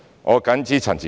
我謹此陳辭。